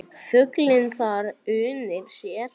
Fuglinn þar unir sér.